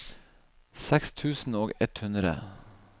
seks tusen og ett hundre